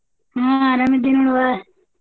ಹಾ ಅರಾಮದಿನ್ ನೋಡವ್ವ.